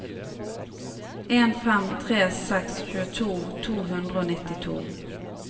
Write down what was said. en fem tre seks tjueto to hundre og nittito